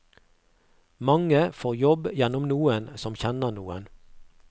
Mange får jobb gjennom noen som kjenner noen.